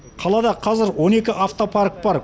қалада қазір он екі автопарк бар